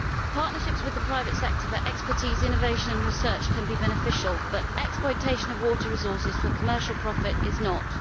Partnerships with the private sector for expertise, innovation and research can be beneficial, but exploitation of water resources for commercial profit is not.